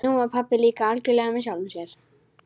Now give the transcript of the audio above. Nú var pabbi líka algjörlega með sjálfum sér.